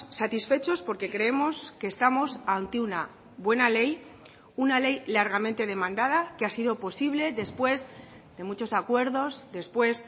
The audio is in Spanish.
satisfechos porque creemos que estamos ante una buena ley una ley largamente demandada que ha sido posible después de muchos acuerdos después